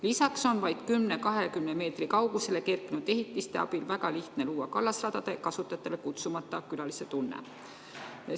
Lisaks on vaid 10–20 meetri kaugusele kerkinud ehitiste abil väga lihtne luua kallasradade kasutajatele kutsumata külaliste tunne.